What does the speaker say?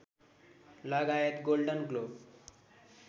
लगायत Golden globe